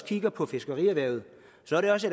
kigger på fiskerierhvervet